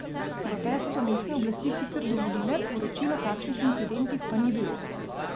Protest so mestne oblasti sicer dovolile, poročil o kakšnih incidentih pa ni bilo.